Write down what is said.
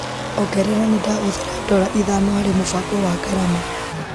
Ongerera nĩndahũthĩra ndola ithano harĩ mũbango wa ngarama.